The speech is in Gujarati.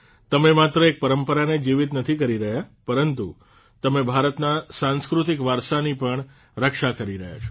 તમે માત્ર એક પરંપરાને જ જીવીત નથી કરી રહ્યા પરંતુ તમે ભારતના સાંસ્કૃતિક વારસાની પણ રક્ષા કરી રહ્યા છો